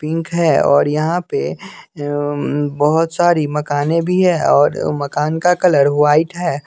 Pink है और यहां पे अह बहुत सारी मकानें भी है और मकान का कलर व्हाइट है।